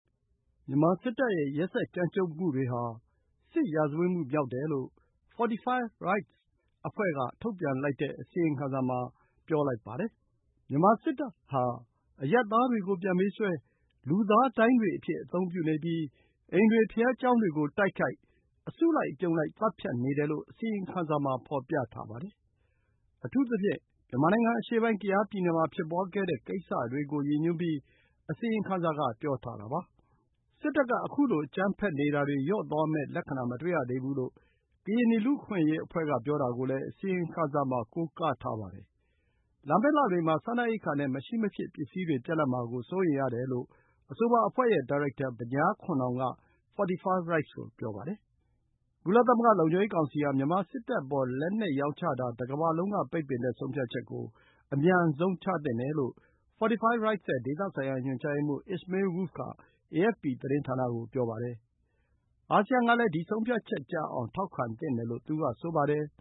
မြန်မာစစ်တပ်ရဲ့ ရက်စက်ကြမ်းကြုတ်မှုတွေဟာ စစ်ရာဇဝတ်မှုမြောက်တယ်လို့ Fortify Rights က ထုတ်ပြန်လိုက်တဲ့ အစီရင်ခံစာမှာ ပြောလိုက်ပါတယ်။ မြန်မာစစ်တပ်ဟာ အရပ်သားတွေကို ပြန်ပေးဆွဲ၊ လူသားဒိုင်းတွေအဖြစ်အသုံးပြုနေပြီး အိမ်တွေ၊ ဘုရားကျောင်းတွေကို တိုက်ခိုက်၊ အစုလိုက်အပြုံလိုက် သတ်ဖြတ်နေတယ်လို့ အစီရင်ခံစာမှာ ဖော်ပြထားပါတယ်။ အထူးသဖြင့် မြန်မာနိုင်ငံအရှေ့ပိုင်း ကယားပြည်နယ်မှာ ဖြစ်ပွါးခဲ့တဲ့ကိစ္စတွေကိုရည်ညွှန်းပြီး အစီရင်ခံစာက ပြောထားတာပါ။ စစ်တပ်က ခုလို အကြမ်းဖက်နေတာတွေ လျော့သွားမယ့် လက္ခဏာမတွေ့ရသေးဘူးလို့ ကရင်နီ လူ့အခွင့်အရေးအဖွဲ့က ပြောတာကိုလည်း အစီရင်ခံစာမှာ ကိုးကားထားပါတယ်။ လာမယ့်လတွေမှာ စားနပ်ရိက္ခာနဲ့ မရှိမဖြစ် ပစ္စည်းတွေ ပြတ်လပ်မှာစိုးရိမ်တယ်လို့ အဆိုပါအဖွဲ့ရဲ့ဒါရိုက်တာ Banyar Khun Naung က Fortify Rights ကို ပြောပါတယ်။ ကုလသမဂ္ဂ လုံခြုံရေးကောင်စီဟာ မြန်မာစစ်တပ်အပေါ် လက်နက်ရောင်းချတာကို တကမ္ဘာလုံးက ပိတ်ပင်တဲ့ ဆုံးဖြတ်ချက် အမြန်ဆုံးချသင့်တယ်လို့ Fortify Rights ရဲ့ ဒေသဆိုင်ရာညွှန်ကြားရေးမှူး Ismail Wolff က AFP သတင်းဌာနကို ပြောပါတယ်။ အာဆီယံကလည်း ဒီ ဆုံးဖြတ်ချက်ကျအောင် ထောက်ခံသင့်တယ်လို့ သူ က ဆိုပါတယ်။